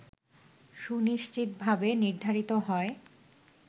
সুনিশ্চিতভাবে নির্ধারিত হয়